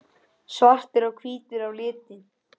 Svartir og hvítir á litinn.